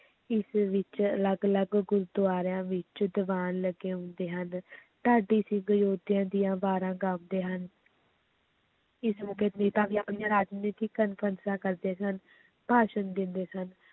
ਈਸਵੀ ਵਿੱਚ ਅਲੱਗ ਅਲੱਗ ਗੁਰੂਦੁਆਰਿਆਂ ਵਿੱਚ ਦੀਵਾਨ ਲੱਗੇ ਹੁੰਦੇ ਹਨ ਢਾਡੀ ਸਿੰਘ ਯੋਧਿਆਂ ਦੀਆਂ ਵਾਰਾਂ ਗਾਉਂਦੇ ਹਨ ਇਸ ਮੌਕੇ ਵੀ ਆਪਣੀਆਂ ਰਾਜਨੀਤਕ ਕਾਨਫ਼ਰੰਸਾਂ ਕਰਦੇ ਸਨ, ਭਾਸ਼ਣ ਦਿੰਦੇ ਸਨ।